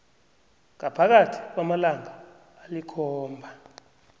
ngaphakathi kwamalanga alikhomba